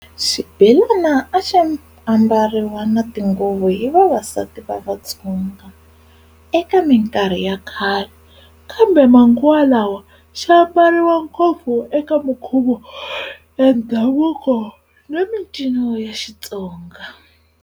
Xibelani aximbariwa na tinguvu hi vavasati va vatsonga, eka minkarhi yakhale, kambe manguwa lawa, ximbariwa ngopfu eka minkhuvo ya ndhavuko na mincino ya xitsonga.